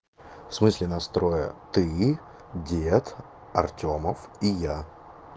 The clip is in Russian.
в смысле нас трое ты дед артёмов и я